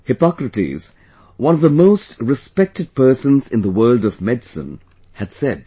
Hippocrates, one of the most respected persons in the world of medicine, had said